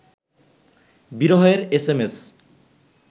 বিরহের S M S